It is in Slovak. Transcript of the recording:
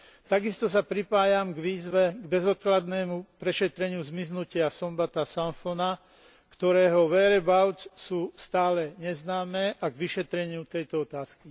Takisto sa pripájam k výzve k bezodkladnému prešetreniu zmiznutia Sombatha Somphona, ktorého whereabouts sú stále neznáme, a k vyšetreniu tejto otázky.